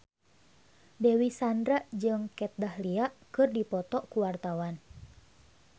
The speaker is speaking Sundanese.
Dewi Sandra jeung Kat Dahlia keur dipoto ku wartawan